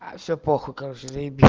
все плохо как же заебись